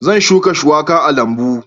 Zan shuka shuwaka a lambu